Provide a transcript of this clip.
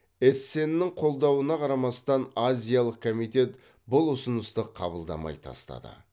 эссеннің қолдауына қарамастан азиялық комитет бұл ұсынысты қабылдамай тастады